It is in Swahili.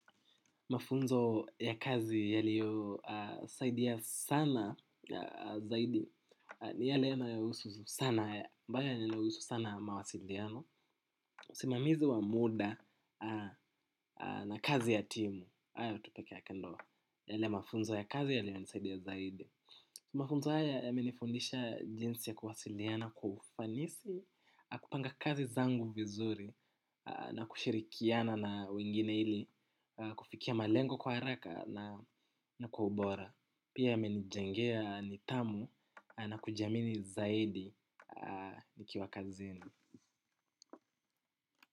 Mafunzo ya kazi yaliyosaidia sana zaidi, ni yale yanayohusu sana, mbaya yanahusu sana mawasiliano. Simamizi wa muda na kazi ya timu, hayo tu peke yake ndio yale mafunzo ya kazi yaliyonisaidia zaidi. Mafunzo haya yamenifundisha jinsi ya kuwasiliana kwa ufanisi, kupanga kazi zangu vizuri na kushirikiana na wengine ili, kufikia malengo kwa haraka na kwa ubora. Pia yamenijengea nithamu na kujiamini zaidi nikiwa kazini.